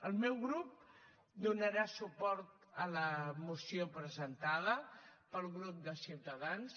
el meu grup donarà suport a la moció presentada pel grup de ciutadans